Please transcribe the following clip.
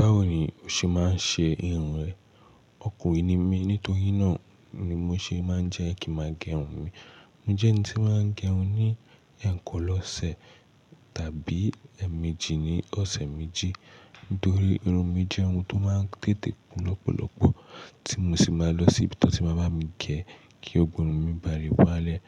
Báwo ni o ṣe máa ń ṣe irun rẹ? Ọkùnrin ni mí, nítorí náà ni mo ṣe máa ń jẹ kin máa gẹrun mi. Mo jẹ́ ẹni tí ó máa ń gẹrun ní ẹ̀ẹ̀kan lọ́sẹ̀ tàbí ẹ́ẹ̀ẹ̀méjì ní ọ̀sẹ̀ méjì. Nítorí irun mi jẹ́ irun tó máa ń tètè kún lọ́pọ̀lọpọ̀ tí mo sì máa ń lọ sí ibi tí wọ́n ti máa bá mi gẹ kí gbogo irun mi ba lè wálẹ̀.